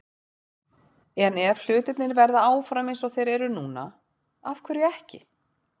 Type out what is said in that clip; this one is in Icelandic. En ef hlutirnir verða áfram eins og þeir eru núna- af hverju ekki?